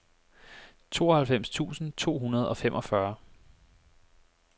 tooghalvfems tusind to hundrede og femogfyrre